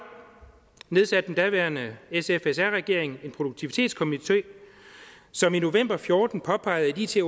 nedsatte den daværende s sf r regering en produktivitetskomité som i november og fjorten påpegede at it